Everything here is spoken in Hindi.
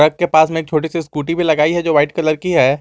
ट्रक के पास में एक छोटी सी स्कूटी भी लगाई है जो वाइट कलर की है।